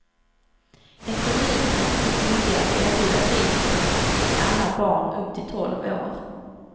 En kommun är inte skyldig att erbjuda fritidshem till alla barn upp till tolv år.